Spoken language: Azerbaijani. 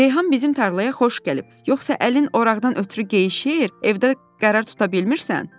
Reyhan bizim tarlaya xoş gəlib, yoxsa əlin oraqdan ötrü geyişir, evdə qərar tuta bilmirsən?